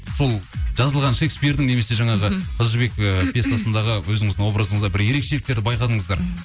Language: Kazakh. сол жазылған шекспирдің немесе жаңағы қыз жібек ы пьесасындағы өзіңіздің образыңызда бір ерекшеліктерді байқадыңыздар